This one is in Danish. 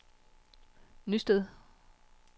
Nysted